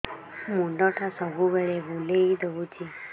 ମୁଣ୍ଡଟା ସବୁବେଳେ ବୁଲେଇ ଦଉଛି